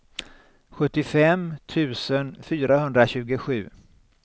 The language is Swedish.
sjuttiofem tusen fyrahundratjugosju